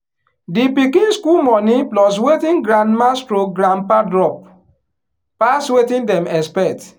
the pikin school money plus wetin grandma/grandpa drop pass wetin dem expect.